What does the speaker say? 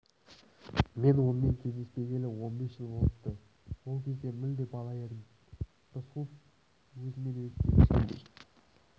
мен онымен кездеспегелі он бес жыл болыпты ол кезде мүлде бала едім деді рысқұлов өзімен-өзі сөйлескендей